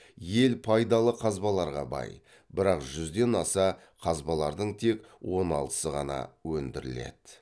ел пайдалы қазбаларға бай бірақ жүзден аса қазбалардың тек он алтысы ғана өндіріледі